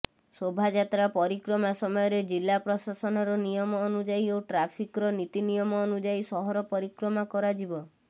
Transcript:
ଶୋଭାଯାତ୍ରା ପରିକ୍ରମା ସମୟରେ ଜିଲ୍ଲା ପ୍ରଶାସନର ନିୟମ ଅନୁଯାୟୀ ଓ ଟ୍ରାଫିକର ନୀତି ନିୟମ ଅନୁଯାୟୀ ସହର ପରିକ୍ରମା କରାଯିବ